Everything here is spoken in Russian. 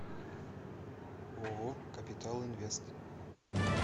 ооо капитал инвест